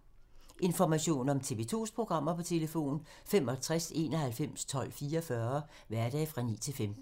Information om TV 2's programmer: 65 91 12 44, hverdage 9-15.